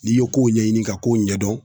N'i ye kow ɲɛɲini ka kow ɲɛdɔn